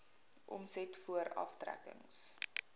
omset voor aftrekkings